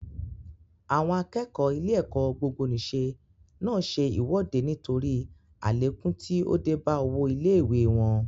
Àwọn akẹ́kọ̀ọ́ ilé-ẹ̀kọ́ gbogbonìṣe náà ṣe ìwọ́de nítorí àlékún tí ó dé bá owó ilé ìwée wọn.